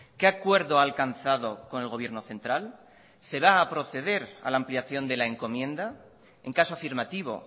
qué acuerdo ha alcanzado con el gobierno central se va a proceder a la ampliación de la encomienda en caso afirmativo